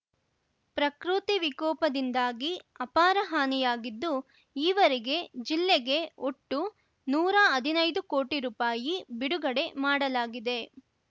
ಪ್ರಕೃತಿ ವಿಕೋಪದಿಂದಾಗಿ ಅಪಾರ ಹಾನಿಯಾಗಿದ್ದು ಈವರೆಗೆ ಜಿಲ್ಲೆಗೆ ಒಟ್ಟು ನೂರಾ ಹದಿನೈದು ಕೋಟಿ ರುಪಾಯಿ ಬಿಡುಗಡೆ ಮಾಡಲಾಗಿದೆ